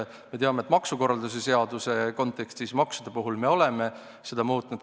Me teame, et maksukorralduse seaduse kontekstis me maksude puhul oleme neid muutnud.